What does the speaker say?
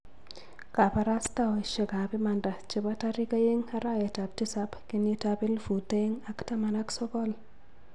kabarastaosiekab imanda chebo tarik oeng' ,arawetab tisab, kenyitab elfut oeng ak taman ak sokol